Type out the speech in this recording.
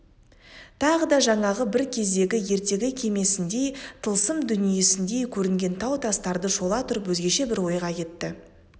тағы да жаңағы бір кездегі ертегі кемесіндей тылсым дүниесіндей көрінген тау тастарды шола тұрып өзгеше бір ойға кетті